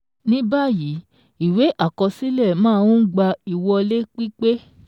Ni báyìí, ìwé àkọsílẹ̀ máa ń gba ìwọlé pípé